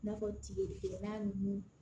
I n'a fɔ tigi na ninnu